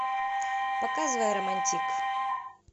показывай романтик